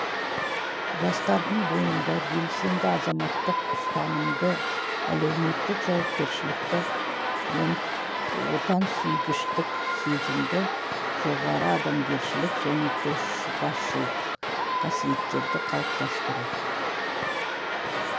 жастардың бойында белсенді азаматтық ұстанымды әлеуметтік жауапкершілікті отансүйгіштік сезімді жоғары адамгершілік және көшбасшылық қасиеттерді қалыптастыру